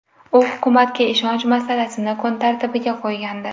U hukumatga ishonch masalasini kun tartibiga qo‘ygandi.